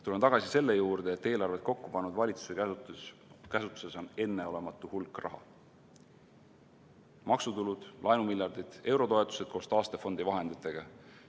Tulen tagasi selle juurde, et eelarvet kokku pannud valitsuse käsutuses on enneolematu hulk raha: maksutulud, laenumiljardid, eurotoetused koos taastefondi vahenditega.